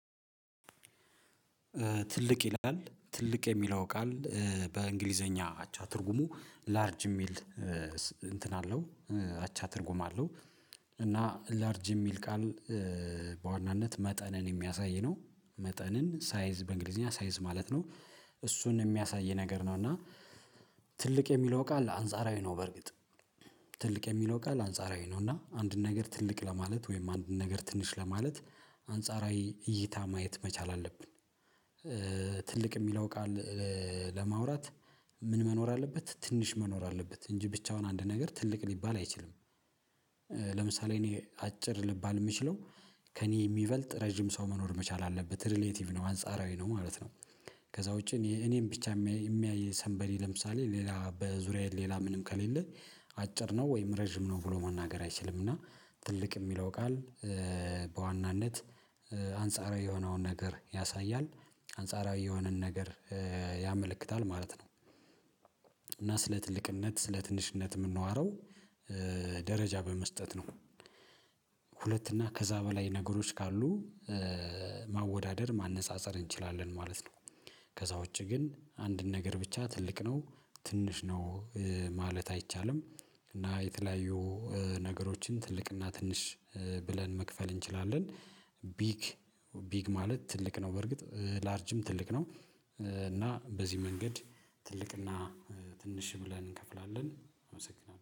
ትልቅ ይላል ትልቅ የሚለው ቃል በእንግሊዘኛ አቻ ትርጉሙ ላርጅ የሚል እንትን አለው አቻ ትርጉም አለው። እና ላርጅ የሚል ቃል በዋናነት መጠንን የሚያሳይ ነው መጠንን ሳይዝ በእንግሊዝኛ ሳይዝ ማለት ነው እሱን የሚያሳይ ነገር ነው እና ትልቅ የሚለው ቃል አንጻራዊ ነው በርግጥ ትልቅ የሚለው ቃል አንጻራዊ ነው እና አንድን ነገር ትልቅ ለማለት ወይም አንድን ነገር ትንሽ ለማለት አንጻራዊ እይታ ማየት መቻል አለብን። ትልቅ የሚለው ቃል ለማውራት ምን መኖር አለበት ትንሽ መኖር አለበት እንጂ ብቻውን አንድ ነገር ትልቅ ሊባል አይችልም። ለምሳሌ እኔ አጭር ልባል የምችለው ከእኔ የሚበልጥ ረጅም ሰው መኖር መቻል አለበት ሪሌቲቭ ነው አንጻራዊ ነው ማለት ነው። ከዛ ውጪ እኔም ብቻ የሚያይ ሰንበዲ ለምሳሌ ሌላ በዙሪያዬ ሌላ ምንም ከሌለ አጭር ነው ወይም ረጅም ነው ብሎ መናገር አይችልም። እና ትልቅ የሚለው ቃል በዋናነት አንጻራዊ የሆነውን ነገር ያሳያል አንጻራዊ የሆነን ነገር ያመለክታል ማለት ነው። እና ስለ ትልቅነት ስለ ትንሽነት የምንዋረው ደረጃ በመስጠት ነው። ሁለት እና ከዛ በላይ ነገሮች ካሉ ማወዳደር ማነፃፀር እንችላለን ማለት ነው። ከዛ ውጪ ግን አንድን ነገር ብቻ ትልቅ ነው ትንሽ ነው ማለት አይቻልም። እና የተለያዩ ነገሮችን ትልቅና ትንሽ ብለን መክፈል እንችላለን ቢግ ቢግ ማለት ትልቅ ነው በርግጥ ላርጅም ትልቅ ነው። እና በዚህ መንገድ ትልቅ እና ትንሽ ብለን እንከፍላለን። አመሰግናለሁ